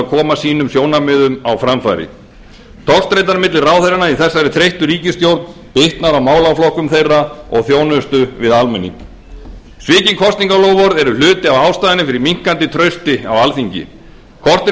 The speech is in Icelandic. koma sjónarmiðum sínum á framfæri togstreitan milli ráðherranna í þessari þreyttu ríkisstjórn bitnar á málaflokkum þeirra og þjónustu við almenning svikin kosningaloforð eru hluti af ástæðunni fyrir minnkandi trausti á alþingi korteri